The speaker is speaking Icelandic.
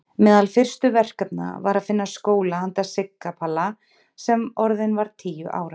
Meðal fyrstu verkefna var að finna skóla handa Sigga Palla sem orðinn var tíu ára.